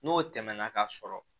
N'o tɛmɛna ka sɔrɔ